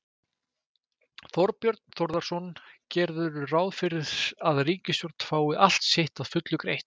Þorbjörn Þórðarson: Gerirðu ráð fyrir að ríkissjóður fái allt sitt að fullu greitt?